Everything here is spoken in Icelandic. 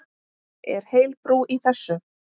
Er heil brú í þessu?